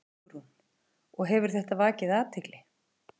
Hugrún: Og hefur þetta vakið athygli?